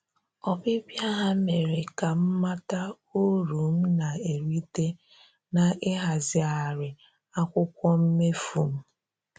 Ọbịbịa ha mere ka m mata uru m na-erita na-ịhazigharị akwụkwọ mmefu m